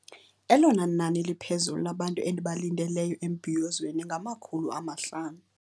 Elona nani liphezulu labantu endibalindele embhiyozweni ngamakhulu amahlanu.